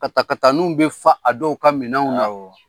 Katakataniw bɛ fa a dɔw ka minɛnw na, awɔ.